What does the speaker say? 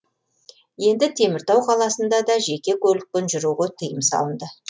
енді теміртау қаласында да жеке көлікпен жүруге тыйым салынды